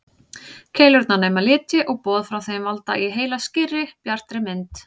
Keilurnar nema liti og boð frá þeim valda í heila skýrri, bjartri mynd.